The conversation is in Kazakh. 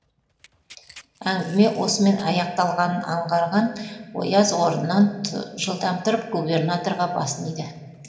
әңгіме осымен аяқталғанын аңғарған ояз орнынан жылдам тұрып губернаторға басын иді